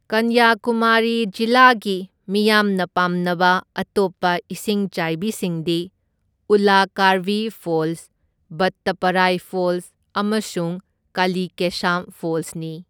ꯀꯟꯌꯥꯀꯨꯃꯥꯔꯤ ꯖꯤꯂꯥꯒꯤ ꯃꯤꯌꯥꯝꯅ ꯄꯥꯝꯅꯕ ꯑꯇꯣꯞꯄ ꯏꯁꯤꯡꯆꯥꯏꯕꯤꯁꯤꯡꯗꯤ ꯎꯜꯂꯥꯀꯥꯔꯚꯤ ꯐꯣꯜꯁ, ꯚꯠꯇꯥꯄꯥꯔꯥꯏ ꯐꯣꯜꯁ ꯑꯃꯁꯨꯡ ꯀꯥꯂꯤꯀꯦꯁꯥꯝ ꯐꯣꯜꯁꯅꯤ꯫